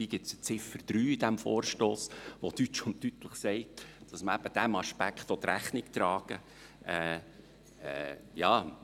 Dabei gibt es die Ziffer 3 in diesem Vorstoss, die deutsch und deutlich sagt, dass man eben diesem Aspekt Rechnung tragen will.